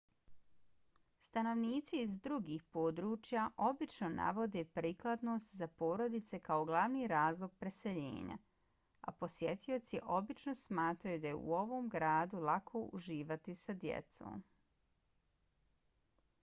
stanovnici iz drugih područja obično navode prikladnost za porodice kao glavni razlog preseljenja a posjetioci obično smatraju da je u ovom gradu lako uživati sa djecom